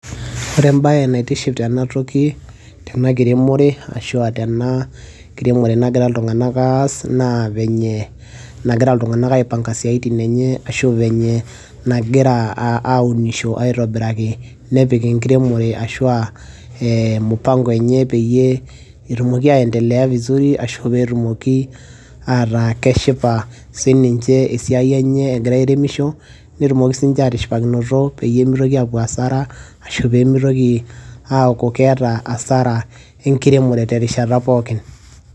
ore embaye naitiship tenatoki tena kiremore ashua tena kiremore nagira iltung'anak aas naa venye nagira iltung'anak aipanga isiaitin enye ashu venye nagira aunisho aitobiraki nepik enkiremore ashua eh, mupango enye peyie etumoki aendelea vizuri ashu petumoki ataa keshipa sininche esiai enye egira airemisho netumoki sininche atishipakinoto peyie mitoki apuo hasara ashu pemitoki aaku keeta hasara enkiremore pookin.